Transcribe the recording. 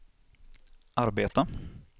arbeta